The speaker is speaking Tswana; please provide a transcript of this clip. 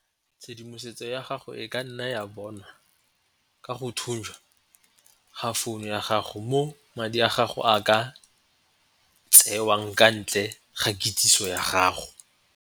Tshedimosetso ya gago e ka nna ya bonwa ka go ga founu ya gago mo madi a gago a ka tsewang ka ntle ga kitsiso ya gago.